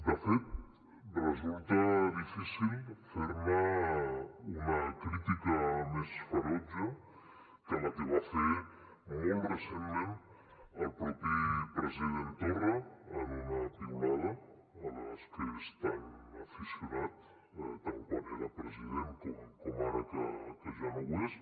de fet resulta difícil fer ne una crítica més ferotge que la que va fer molt recentment el mateix president torra en una piulada a les que és tan aficionat tant quan era president com ara que ja no ho és